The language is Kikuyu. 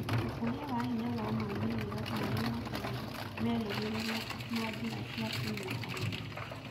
Ũkũria wa hinya na moimĩrĩro marĩa matarĩ merĩgĩrĩirũo ma njĩra cia kũnyitanĩra